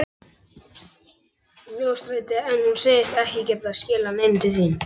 Mjóstræti en hún segist ekki geta skilað neinu til þín.